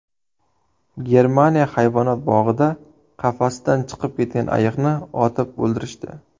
Germaniya hayvonot bog‘ida qafasidan chiqib ketgan ayiqni otib o‘ldirishdi.